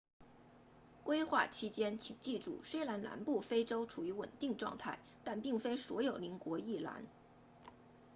规划期间请记住虽然南部非洲处于稳定状态但并非所有邻国亦然